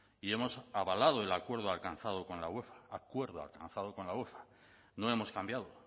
y hemos avalado el acuerdo alcanzado con la uefa acuerdo alcanzado con la uefa no hemos cambiado